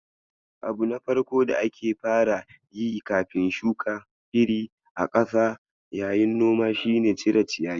Abu na farko da ake fara yi kafin shuka iri a ƙasa yayin noma shine cire ciyayi.